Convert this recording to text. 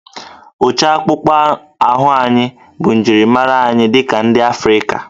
Ụcha akpụkpọ ahụ anyị bụ njirimara anyị dị ka ndị Afrịka